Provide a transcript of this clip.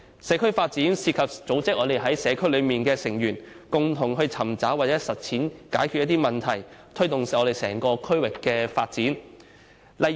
社區發展涉及組織社區內的成員，共同尋找和實踐解決問題的方法，推動整個區域的發展。